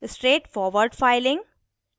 straight forward filing